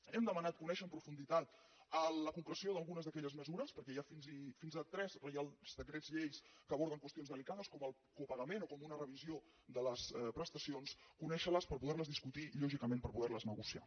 hem demanat conèixer amb profunditat la concreció d’algunes d’aquelles mesures perquè hi ha fins a tres reials decrets lleis que aborden qüestions delicades com el copagament o com una revisió de les prestacions conèixer les per poder les discutir i lògicament per poder les negociar